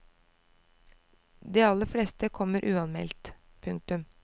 De aller fleste kommer uanmeldt. punktum